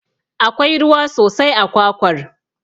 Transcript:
Akwai ruwa sosai a kwakwar.